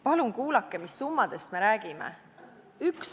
Palun kuulake, mis summadest me räägime!